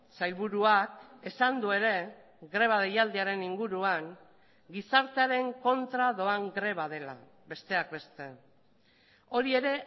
sailburuak esan du ere greba deialdiaren inguruan gizartearen kontra doan greba dela besteak beste hori ere